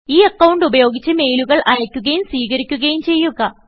ഈ അക്കൌണ്ട് ഉപയോഗിച്ച് മെയിലുകൾ അയക്കുകയും സ്വീകരിക്കുകയും ചെയ്യുക